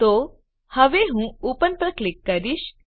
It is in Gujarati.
તો હવે હું ઓપન પર ક્લિક કરીશ